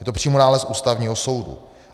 Je to přímo nález Ústavního soudu.